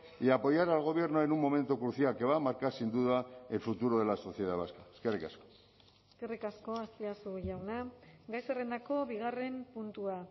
y apoyar al gobierno en un momento crucial que va a marcar sin duda el futuro de la sociedad vasca eskerrik asko eskerrik asko azpiazu jauna gai zerrendako bigarren puntua